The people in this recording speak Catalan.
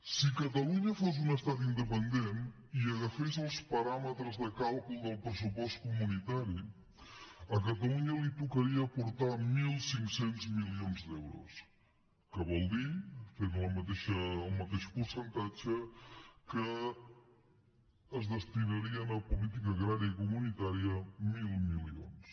si catalunya fos un estat independent i agafés els paràmetres de càlcul del pressupost comunitari a catalunya li tocaria aportar mil cinc cents milions d’euros que vol dir fent hi el mateix percentatge que es destinarien a política agrària comunitària mil milions